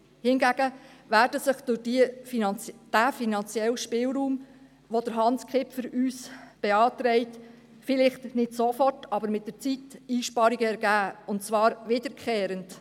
Hingegen werden sich durch den finanziellen Spielraum, den uns Hans Kipfer beantragt, vielleicht nicht sofort, aber längerfristig Einsparungen ergeben, und zwar wiederkehrende.